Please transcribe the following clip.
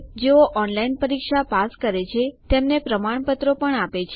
જેઓ ઓનલાઇન પરીક્ષા પાસ કરે છે તેમને પ્રમાણપત્રો આપે છે